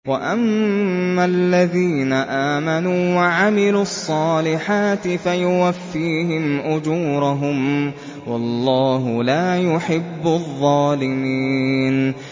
وَأَمَّا الَّذِينَ آمَنُوا وَعَمِلُوا الصَّالِحَاتِ فَيُوَفِّيهِمْ أُجُورَهُمْ ۗ وَاللَّهُ لَا يُحِبُّ الظَّالِمِينَ